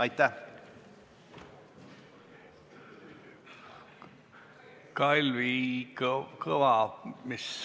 Aitäh!